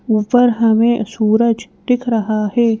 ऊपर हमे सूरज दिख रहा है।